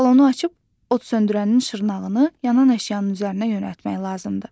Balonu açıb, od söndürənin şırnağını yanan əşyanın üzərinə yönəltmək lazımdır.